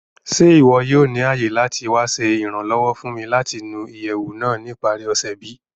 Ṣe iwọ yoo ni aye lati wa ṣe iranlọwọ fun mi lati nu iyẹwu naa ni ipari ose bi?